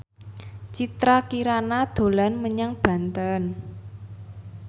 Citra Kirana dolan menyang Banten